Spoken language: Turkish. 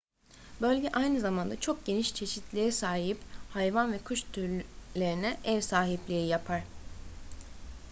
bölge aynı zamanda çok geniş çeşitliliğe sahip hayvan ve kuş türlerine ev sahipliği yapar